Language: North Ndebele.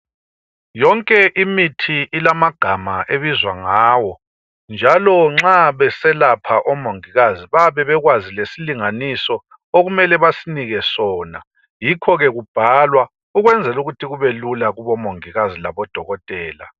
Yonke imithi ilamagama ebizwa ngawo. Njalo nxa beselapha omongikazi bayabe bekwazi lesilinganiso okumele basinike sona .Yikhoke kubhalwa ukwenzelukuthi kubelula kubomongikazi laboDokotela.